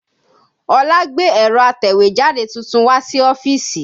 Olá gbé ẹ̀rọ atẹ̀wẹ́jáde tuntun wá sí ọ́fíìsì